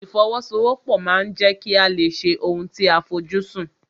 Ìfọwọ́sowọ́pọ̀ ma ń jẹ́ kí a lè ṣe ohun tí a fojú sùn.